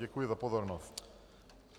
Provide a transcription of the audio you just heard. Děkuji za pozornost.